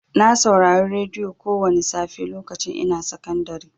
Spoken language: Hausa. Na saurari radiyo kowani safe lokacin ina sakandari.